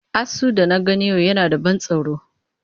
Asu da na gani a yau yana da ban tsoro.